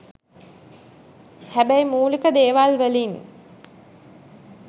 හැබැයි මුලික දේවල් වලින්